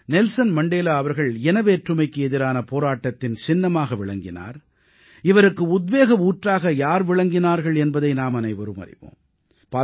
Nelson Mandela அவர்கள் இனவேற்றுமைக்கு எதிரான போராட்டத்தின் சின்னமாக விளங்கினார் இவருக்கு உத்வேக ஊற்றாக யார் விளங்கினார்கள் என்பதை நாமனைவரும் அறிவோம்